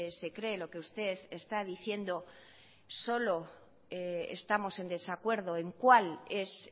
se cree lo que usted está diciendo solo estamos en desacuerdo en cuál es